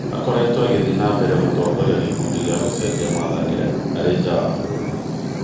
Akoretwo agithiĩ nambere gũtongoria gĩkundi kĩa gũcenjia mwathanĩre arĩ nja wa bũrũri.